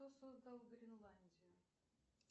кто создал гренландию